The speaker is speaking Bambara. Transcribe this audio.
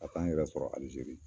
Ka taa n yɛrɛ sɔrɔ Alizeri.